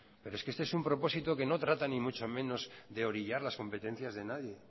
pero es un propósito que no trata ni mucho menos de orillar las competencias de nadie